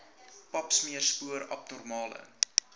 papsmeer spoor abnormale